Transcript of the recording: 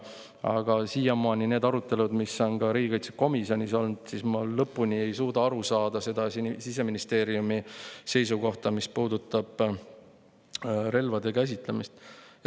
Aga siiamaani nende arutelude põhjal, mis on ka riigikaitsekomisjonis olnud, ma lõpuni ei suuda aru saada Siseministeeriumi seisukohast, mis puudutab relvade käsitsemist.